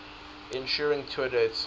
ensuing tour dates